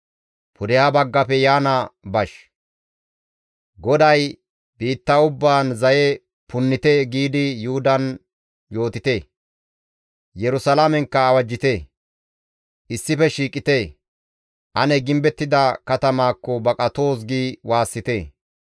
GODAY, « ‹Biitta ubbaan zaye punnite!› giidi Yuhudan yootite. Yerusalaamenkka awajjite; ‹Issife shiiqite! Ane gimbettida katamatakko baqatoos!› gi waassite.